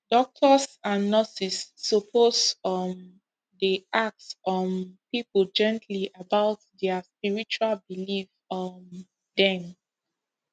doctors and nurses suppose um dey ask um people gently about their spiritual belief um dem